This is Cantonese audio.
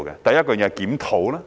第一，是檢討。